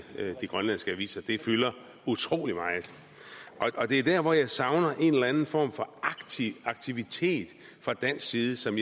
de grønlandske aviser det fylder utrolig meget det er der hvor jeg savner en eller anden form for aktivitet fra dansk side som